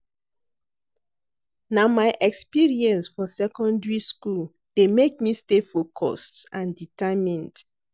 Na my experience for secondary school dey make me stay focused and determined.